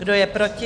Kdo je proti?